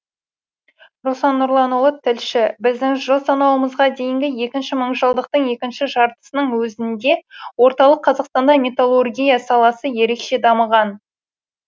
руслан нұрланұлы тілші біздің жыл санауымызға дейінгі екінші мыңжылдықтың екінші жартысының өзінде орталық қазақстанда металлургия саласы ерекше дамыған